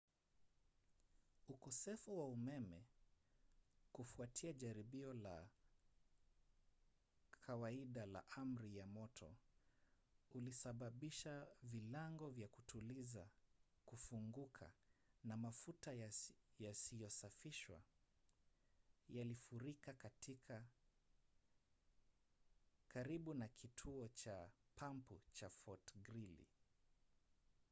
ukosefu wa umeme kufuatia jaribio la kawaida la amri ya moto ulisababisha vilango vya kutuliza kufunguka na mafuta yasiyosafishwa yalifurika karibu na kituo cha pampu cha fort greely